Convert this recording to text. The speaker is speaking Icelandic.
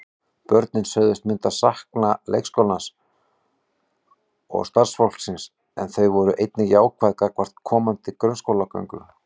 Börnin sögðust myndu sakna leikskólans og starfsfólksins en þau voru einnig jákvæð gagnvart komandi grunnskólagöngu.